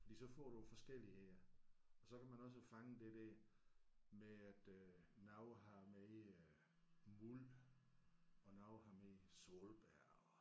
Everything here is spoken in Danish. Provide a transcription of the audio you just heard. Fordi så får du forskellige og så kan man også fange det der med at øh nogle har mere mul og nogle har mere solbær og